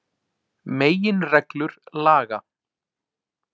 Meginreglur laga.